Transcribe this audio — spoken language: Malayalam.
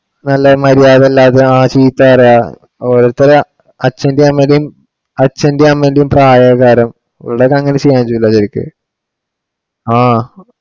നല്ല മര്യാദ ഇല്ലാതെ ആ ചീത്ത പറയുക. ഓരോത്തര് അച്ഛന്റേം അമ്മേടേം ~ അച്ഛന്റേം അമ്മേടേം പ്രായവുള്ള ആൾക്കാരാ ഇവിടെ ഒക്കെ അങ്ങിനെ ചെയ്യാൻ ചെയ്യൂല്ല ശരിക്ക് ആഹ്